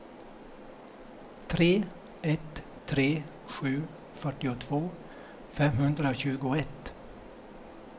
tre ett tre sju fyrtiotvå femhundratjugoett